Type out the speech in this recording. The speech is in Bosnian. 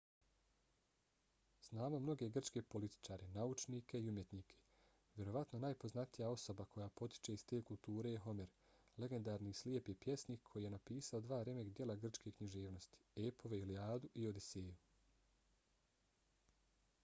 znamo mnoge grčke političare naučnike i umjetnike. vjerovatno najpoznatija osoba koja potiče iz te kulture je homer legendarni slijepi pjesnik koji je napisao dva remek-djela grčke književnosti – epove ilijadu i odiseju